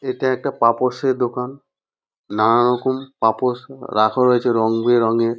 এটা একটা পাপোশের দোকান। নানা রকম পাপোশ রাখা হয়েছে রংবেরঙের।